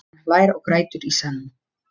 Hann hlær og grætur í senn.